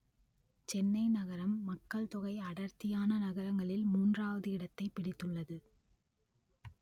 சென்னை நகரம் மக்கள் தொகை அடர்த்தியான நகரங்களில் மூன்றாவது இடத்தைப் பிடித்துள்ளது